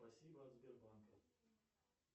спасибо от сбербанка